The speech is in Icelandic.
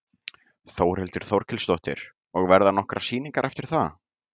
Þórhildur Þorkelsdóttir: Og verða nokkrar sýningar eftir það?